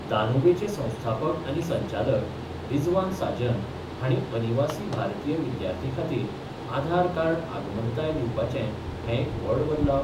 दानूबेचे संस्थापक आनी संचालक रिझवान साजन हांणी अनिवासी भारतीय विद्यार्थी खातीर आधार कार्ड आगमनताय दिवपाचे हें एक व्हड बदलाव